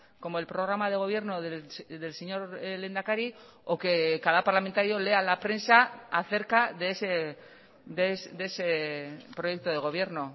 como el programa de gobierno del señor lehendakari o que cada parlamentario lea la prensa acerca de ese proyecto de gobierno